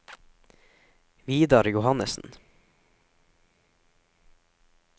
Vidar Johannessen